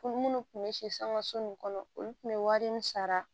Olu munnu kun be si sanga so nin kɔnɔ olu kun be wari min sara